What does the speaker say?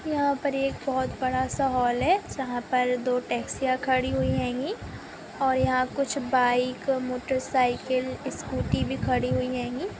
यहाँ पर एक बहुत बड़ा- सा हाल है जहाँ पर दो टैक्सियाँ खड़ी हुई और यहाँ कुछ बाइक मोटरसाइकिल स्कूटी भी खड़ी हुई ।